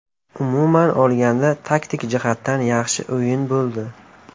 Umuman olganda, taktik jihatdan yaxshi o‘yin bo‘ldi.